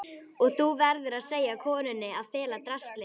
Og þú verður að segja konunni að fela draslið.